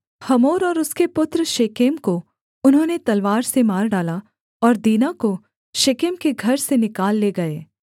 Hamor और उसके पुत्र शेकेम को उन्होंने तलवार से मार डाला और दीना को शेकेम के घर से निकाल ले गए